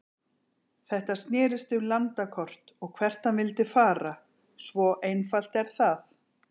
Þetta snérist um landakort og hvert hann vildi fara, svo einfalt er það.